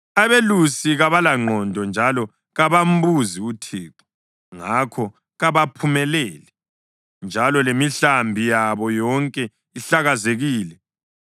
Abelusi kabalangqondo njalo kabambuzi uThixo, ngakho kabaphumeleli, njalo lemihlambi yabo yonke ihlakazekile.